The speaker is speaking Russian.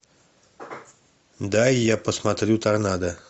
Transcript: дай я посмотрю торнадо